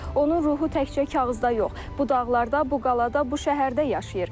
Onun ruhu təkcə kağızda yox, bu dağlarda, bu qaladə, bu şəhərdə yaşayır.